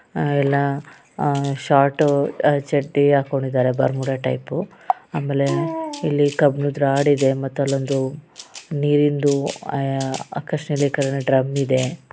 ಆಹ್ಹ್ ಎಲ್ಲಾಆಹ್ಹ್ ಶೊರ್ಟ್ ಆಹ್ಹ್ ಚಡ್ಡಿ ಹಾಕೊಂಡಿದ್ದಾರೆ ಬರ್ಮುಡಾ ಟೈಪ್ ಆಮೇಲೆ ಇಲ್ಲಿ ಕಬ್ಬಿಣದ್ದು ರೋಡ ಇದೆ ಮತ್ತೆ ಅಲ್ಲೊಂದು ನೀರಿಂದು ಆಹ್ಹ್ ಡ್ರಮ್ ಇದೆ.